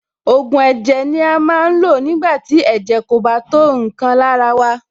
Ògùn ẹ̀jẹ̀ ni a máa ń lò nígbà tí ẹ̀jẹ̀ kò bá tó nǹkan lára wa.